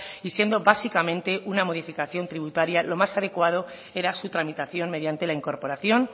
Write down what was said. y siendo básicamente una modificación tributaria lo más adecuado era su tramitación mediante la incorporación